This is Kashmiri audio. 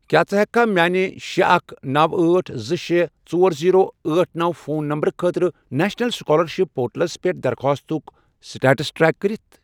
کیٛاہ ژٕ ہیٚککھا میانہِ شے، اکھَ، نوَ، أٹھ، زٕ، شے، ژۄر، زیٖرو، أٹھ، نوَ، فون نمبرٕ خٲطرٕ نیشنل سُکالرشِپ پورٹلس پٮ۪ٹھ درخواستُک سٹیٹس ٹریک کٔرِتھ؟